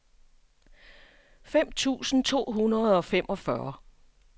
fem tusind to hundrede og femogfyrre